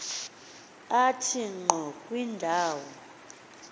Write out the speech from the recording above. athe ngqo kwindawo